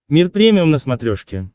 мир премиум на смотрешке